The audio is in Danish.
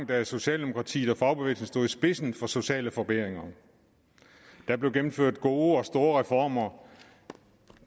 da socialdemokratiet og fagbevægelsen stod i spidsen for sociale forbedringer der blev gennemført gode og store reformer